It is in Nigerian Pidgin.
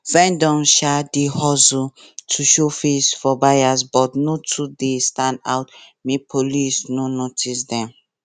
vendors um dey hustle um to show face for buyers but no too stand out make police no notice them